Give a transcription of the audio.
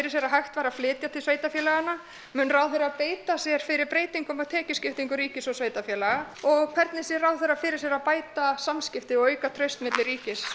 sér að hægt væri að flytja til sveitarfélaganna mun ráðherra beita sér fyrir breytingu á tekjuskiptingu ríkis og sveitarfélaga og hvernig sér ráðherra fyrir sér að bæta samskipti og auka traust milli ríkis